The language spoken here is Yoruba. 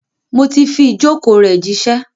Mo ti fi ìjókòó rẹ̀ jíṣẹ́.